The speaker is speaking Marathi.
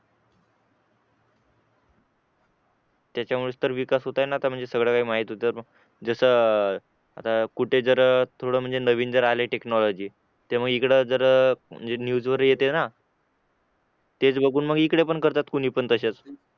त्याच्यामुळे तर विकास होतोय ना आता म्हणजे सगळं काही माहीत होतं जसं अह आता कुठे कुठे जर थोडा नवीन जर आली टेक्नॉलॉजी तेव्हा इकडे जर न्यूज वर येते ना तेच बघून मग इकडे करतात कोणी पण तसेच